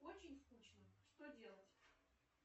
очень скучно что делать